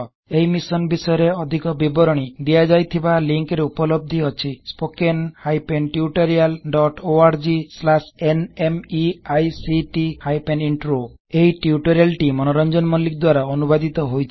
ଏହି ମିଶନ୍ ବିଷୟରେ ଅଧିକ ବିବରଣୀ ଦିଆଯାଇଥିବା ଲିଂକ୍ ରେ ଉପଲବ୍ଧ ଅଛି httpspoken tutorialorgNMEICT Intro ଏହି ଟ୍ୟୁଟୋରିଆଲ ଟି ମନୋରଜଂନ ମଲ୍ଲିକ୍ ଦ୍ବାରା ଅନୁବାଦିତ ହୋଇଛି